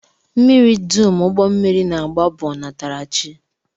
Mmiri dum ụgbọmmiri na-agba bụ ọnatarachi